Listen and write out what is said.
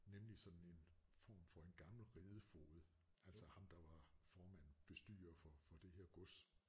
Nemlig sådan en form for en gammel ridefoged altså ham der var formand bestyrer for for det her gods